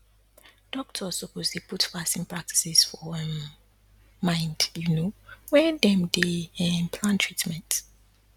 doctors suppose dey put fasting practices for um mind you know when dem dey um plan treatment